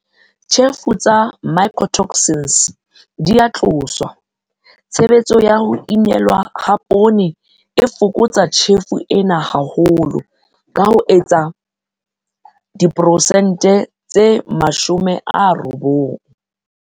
Tjhefo tsa mycotoxins di a tloswa tshebetso ya ho inelwa ha poone e fokotsa tjhefo ena haholo ka ho ka etsang diperesente tse 90.